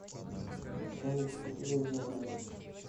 салют кто тебя изобрел